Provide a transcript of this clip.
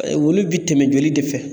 olu bi tɛmɛ joli de fɛ